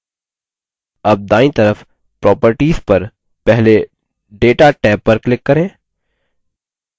tab दायीं तरफ properties पर पहले data टैब पर click करें